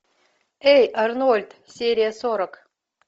эй арнольд серия сорок